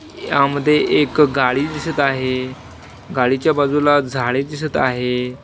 यामध्ये एक गाडी दिसत आहे गाडीच्या बाजूला झाडे दिसत आहे.